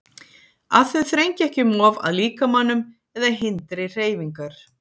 Að þau þrengi ekki um of að líkamanum eða hindri hreyfingar.